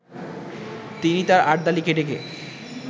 তিনি তার আর্দালিকে ডেকে